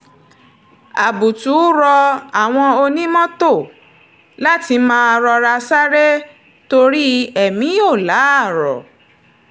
àbùtù rọ àwọn onímọ́tò láti máa rọra sáré torí èmi ò láárọ̀